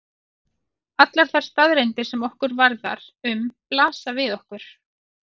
Allar þær staðreyndir sem okkur varðar um blasa við okkur.